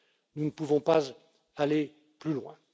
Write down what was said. Nous ne pouvons pas aller plus loin.